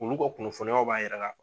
Olu ka kunnafoniyaw b'a yira ka